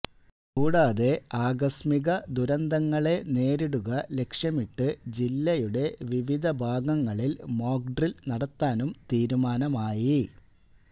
കൂടാതെ ആകസ്മിക ദുരന്തങ്ങളെ നേരിടുക ലക്ഷ്യമിട്ട് ജില്ലയുടെ വിവിധഭാഗങ്ങളില് മോക്ഡ്രില് നടത്താനും തീരുമാനമായി